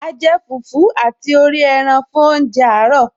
A jẹ fùfú àti orí ẹran fún oúnjẹ àárọ̀